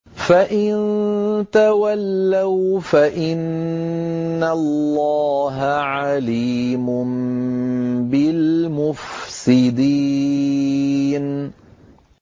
فَإِن تَوَلَّوْا فَإِنَّ اللَّهَ عَلِيمٌ بِالْمُفْسِدِينَ